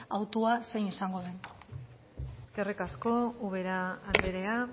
hautua zein izango den eskerrik asko ubera andrea